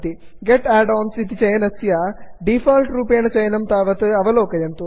गेत् add ons get add ons इति चयनस्य default रूपेण चयनं तावत् अवलोकयन्तु